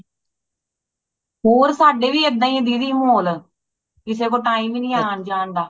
ਹੋਰ ਸਾਡੇ ਵੀ ਏਦਾਂ ਹੀ ਨੇ ਦੀਦੀ ਮਾਹੌਲ ਕਿਸੇ ਕੋਲ time ਹੀ ਨਹੀਂ ਹੈ ਆਂ ਜਾਨ ਦਾ